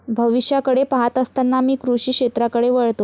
भविष्याकडे पाहत असताना मी कृषी क्षेत्राकडे वळतो.